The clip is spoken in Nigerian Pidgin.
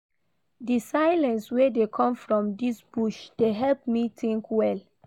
Di silence wey dey come from dis bush dey help me tink well.